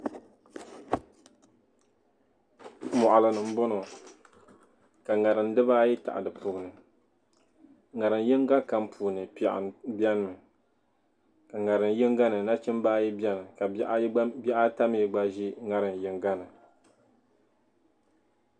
Moɣili ni n boŋɔ ka ŋarim diba ayi tahi di puuni ŋarim yinga kam puuni piɛɣu beni mi ka ŋarim yinga ni ka nachimba ayi beni ka bihi ata mi gba ʒi ŋarim yinga ni.